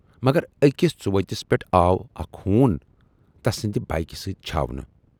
مگر ٲکِس ژُ ؤتِس پٮ۪ٹھ آو اکھ ہوٗن تسٕندِ بایِکہِ سۭتۍ چھاونہٕ۔